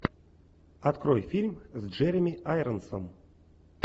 открой фильм с джереми айронсом